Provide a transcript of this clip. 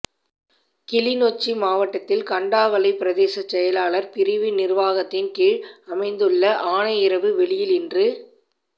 கிளிநொச்சி மாவட்டத்தில் கண்டாவளை பிரதேச செயலாளர் பிரிவின் நிர்வாகத்தின் கீழ் அமைந்துள்ள ஆனையிறவு வெளியில் இன்று